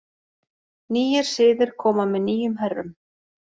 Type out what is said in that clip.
Nýir siðir koma með nýjum herrum.